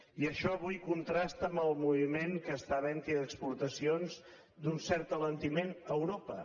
i això avui contrasta amb el moviment que està havent hi d’exportacions d’un cert alentiment a europa